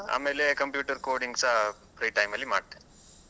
ಆಮೇಲೆ computer coding ಸಹ free time ಅಲ್ಲಿ ಮಾಡ್ತೇನೆ.